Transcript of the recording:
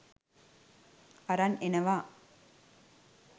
අරන් එනවා.